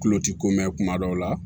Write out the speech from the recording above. Kulo ti ko mɛn kuma dɔw la